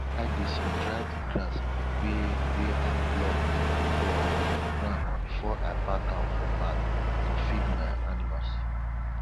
i dey sundry di grass wey wey i pluck for ground before i pack am for bag to feed my animals